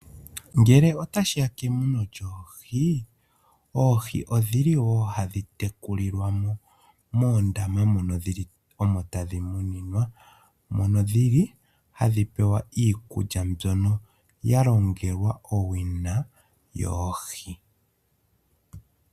Ngele otashiya kemuno lyoohi. Oohi odhili woo hadhi tekulilwa moondama mono tadhi munwa ,mono dhili tadhi pewa iikulya iikukya mbyono ya longelwa owina yoohi.